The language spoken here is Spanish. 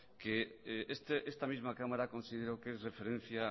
que esta misma cámara consideró que es referencia